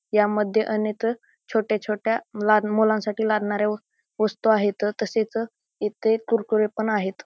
ह्या मध्ये अनेक छोट्या छोट्या लहान मुलांसाठी लागण्याऱ्या वस्तु आहेत तसेच येथे कुरकुरे पण आहेत.